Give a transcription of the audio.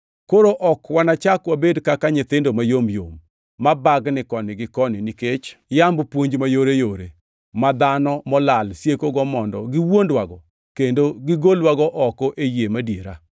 Koro ok wanachak wabed kaka nyithindo mayom yom, ma bagni koni gi koni nikech yamb puonj mayoreyore, ma dhano molal siekogo mondo giwuondwago kendo gigolwago oko e yie madiera.